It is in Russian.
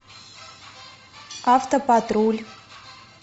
автопатруль